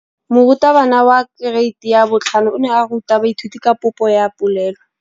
Moratabana wa kereiti ya 5 o ne a ruta baithuti ka popô ya polelô.